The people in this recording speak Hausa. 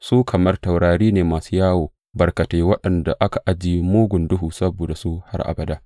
Su kamar taurari ne masu yawo barkatai, waɗanda aka ajiye mugun duhu saboda su har abada.